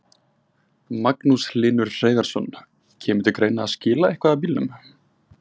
Magnús Hlynur Hreiðarsson: Kemur til greina að skila eitthvað af bílunum?